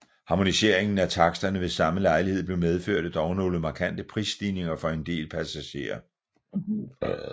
Harmoniseringen af taksterne ved samme lejlighed medførte dog nogle markante prisstigninger for en del passagerer